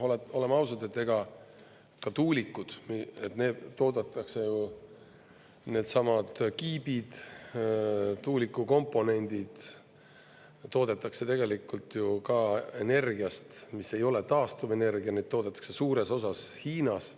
Oleme ausad, ka tuulikud, need toodetakse ju, needsamad kiibid, tuuliku komponendid, toodetakse tegelikult ka energiast, mis ei ole taastuvenergia, neid toodetakse suures osas Hiinas.